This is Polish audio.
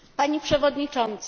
Pani przewodnicząca!